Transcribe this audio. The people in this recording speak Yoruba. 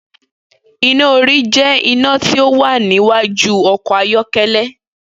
Iná orí jẹ́ iná tí ó wà níwájú ọkọ̀ ayọ́kẹ́lẹ́.